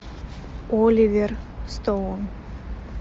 оливер стоун